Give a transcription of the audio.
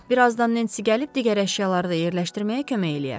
Bir azdan Nensi gəlib digər əşyaları da yerləşdirməyə kömək eləyər.